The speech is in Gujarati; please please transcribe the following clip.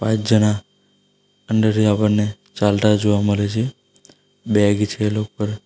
જણા અંદરથી આપણને ચાલતા જોવા મળે છે બેગ છે એ લો પર.